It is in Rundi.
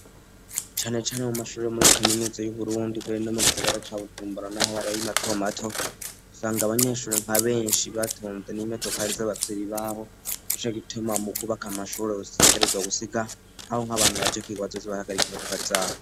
cane cane mu mashuri muri kaminuza y'uburundi muri kino gisagara ca bujumbura nahari mato mato usanga abanyeshuri nka benshi batunze n'imodokari z'ababvyeri Babo Nico gituma mu kubaka amashuri bashishikarizwa gusiga aho nk'abantu baje kw,iga bazoza bahagarika imodokari zabo